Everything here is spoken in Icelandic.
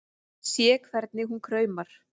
Sé hvernig hún kraumar.